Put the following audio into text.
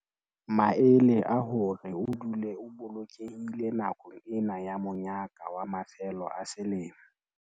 Maele a hore o dule o bolokehile nakong ena ya monyaka wa mafelo a selemo